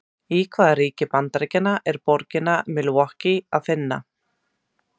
Í hvaða ríki Bandaríkjanna er borgina Milwaukee að finna?